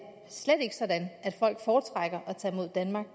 slet ikke er sådan at folk foretrækker at tage mod danmark